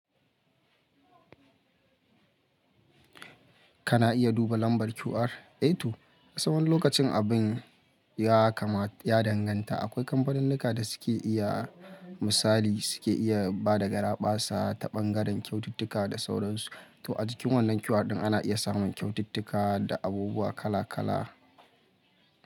Kana iya duba lambar QR. Eh to, kasan wani lokacin abin, ya kama ya danganta. Akwai kamfaninnika da suke iya, misali suke iya bada garaɓasa ta ɓangaren kyaututtuka da sauransu. To a cikin wannan QR ɗin ana iya samun kyaututtuka, da abubuwa kala kala.